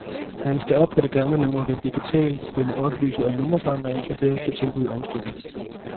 Ringes der op på det gamle nummer vil en digitalstemme oplyse om nummerforandringen, og derefter tilbyde omstilling.